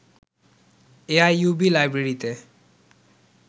A I U B লাইব্রেরীতে